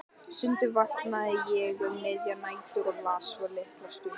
Stundum vaknaði ég um miðjar nætur og las svo litla stund.